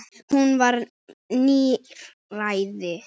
Hún var níræð.